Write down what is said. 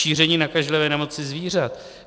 Šíření nakažlivé nemoci zvířat.